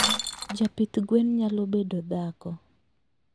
Japidh gwen nyalo bedo dhako?